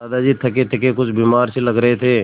दादाजी थकेथके कुछ बीमार से लग रहे थे